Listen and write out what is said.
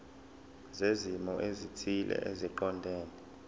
zezimo ezithile eziqondene